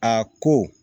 A ko